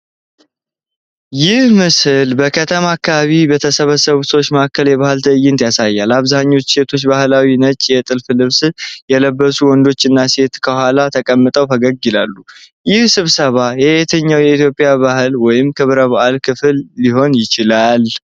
ይህ ምስል በከተማ አካባቢ በተሰበሰቡ ሰዎች መሀል የባህል ትዕይንት ያሳያል። አብዛኛዎቹ ሴቶች ባህላዊ ነጭ የጥልፍ ልብስ የለበሱወንድና ሴት ከኋላ ተቀምጠው ፈገግ ይላሉ፤ ይህ ስብሰባ የየትኛው የኢትዮጵያ በዓል ወይም ክብረ በዓል ክፍል ሊሆን ይችላል?